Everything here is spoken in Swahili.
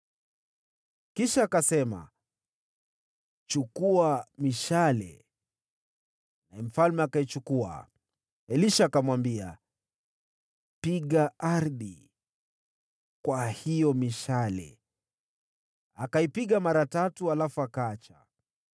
Kisha akasema, “Chukua mishale,” naye mfalme akaichukua. Elisha akamwambia, “Piga ardhi kwa hiyo mishale.” Akaipiga mara tatu, halafu akaacha.